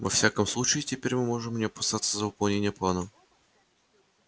во всяком случае теперь мы можем не опасаться за выполнение плана